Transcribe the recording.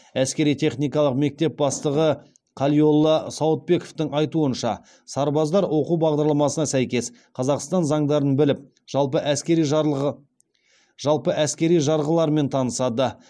әскери техникалық мектеп бастығы қалиолла сауытбековтің айтуынша сарбаздар оқу бағдарламасына сәйкес қазақстан заңдарын біліп жалпы әскери жарғылармен танысады